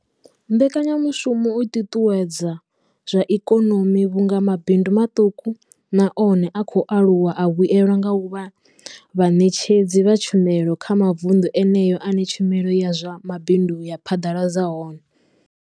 Mbekanyamushumo i ṱuṱuwedza zwa ikonomi vhunga mabindu maṱuku na one a khou aluwa a vhuelwa nga u vha vhaṋetshedzi vha tshumelo kha mavundu eneyo ane tshumelo ya zwa mabindu ya phaḓaladzwa hone.